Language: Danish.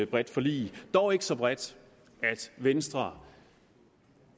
bredt forlig dog ikke så bredt at venstre